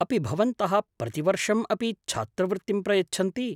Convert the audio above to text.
अपि भवन्तः प्रतिवर्षम् अपि छात्रवृत्तिं प्रयच्छन्ति?